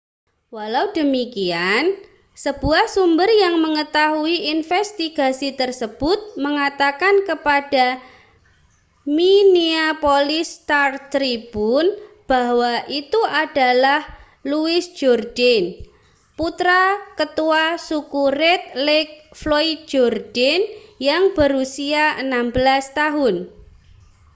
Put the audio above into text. walau demikian sebuah sumber yang mengetahui investigasi tersebut mengatakan kepada minneapolis star-tribune bahwa itu adalah louis jourdain putra ketua suku red lake floyd jourdain yang berusia 16 tahun